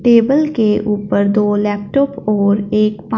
table के ऊपर दो लैपटॉप और एक--